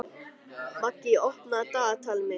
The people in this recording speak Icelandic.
Maggý, opnaðu dagatalið mitt.